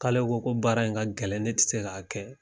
K'ale ko ko baara in ka gɛlɛn ne ti se k'a kɛ.